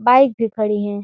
Bike भी खड़ी हैं।